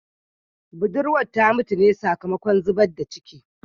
Budurwar ta mutu ne sakamakon zubar da ciki